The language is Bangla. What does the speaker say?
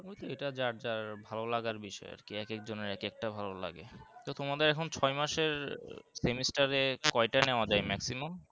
বুঝলে এটা যার যার ভালো লাগার বিষয় আর কি এক এক জনের এক একটা ভালো লাগে তো তোমাদের এখন ছয় মাসের semester এ কয়েটা নেওয়া যায় maximum?